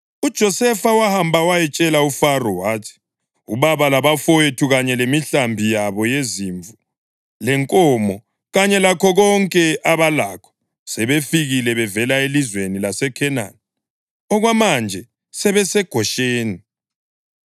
UJosefa wahamba wayatshela uFaro wathi, “Ubaba labafowethu, kanye lemihlambi yabo yezimvu lenkomo, kanye lakho konke abalakho sebefikile bevela elizweni laseKhenani, okwamanje sebeseGosheni.”